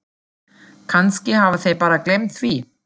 Kannski hafa þeir bara gleymt því.